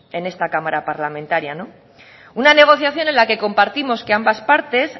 en esta cámara parlamentaria una negociación en la compartimos que ambas partes